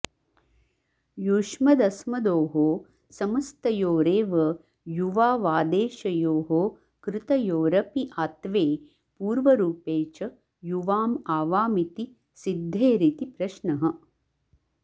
युष्मदस्मदोः समस्तयोरेव युवावादेशयोः कृतयोरपि आत्वे पूर्वरूपे च युवाम् आवामिति सिद्धेरिति प्रश्नः